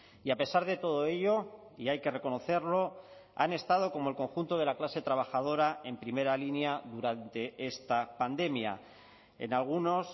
y a pesar de todo ello y hay que reconocerlo han estado como el conjunto de la clase trabajadora en primera línea durante esta pandemia en algunos